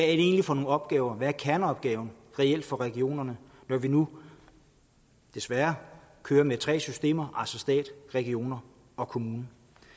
egentlig for nogle opgaver hvad er kerneopgaven reelt for regionerne når vi nu desværre kører med tre systemer altså stat regioner og kommuner